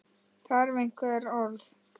Þarf einhver orð?